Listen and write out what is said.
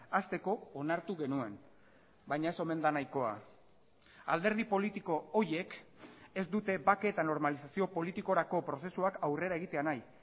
hasteko onartu genuen baina ez omen da nahikoa alderdi politiko horiek ez dute bake eta normalizazio politikorako prozesuak aurrera egitea nahi